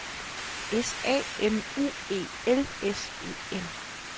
S A M U E L S E N